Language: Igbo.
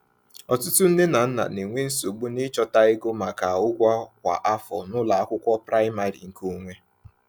Ọtụtụ nne na nna na-enwe nsogbu n’ịchọta ego maka ụgwọ kwa afọ n’ụlọ akwụkwọ praịmarị nke onwe.